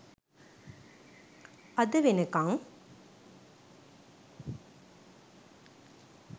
අද වෙනකම්